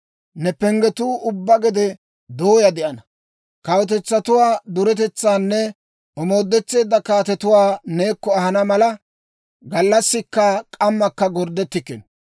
Ne penggetuu ubbaa gede dooyaa de'ana. Kawutetsatuwaa duretetsaanne omoodetteedda kaatetuwaa neekko ahana mala, gallassikka k'ammakka gorddettikkino.